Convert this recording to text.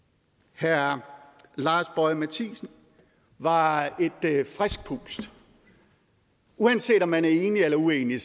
herre lars boje mathiesen var et frisk pust uanset om man er enig eller uenig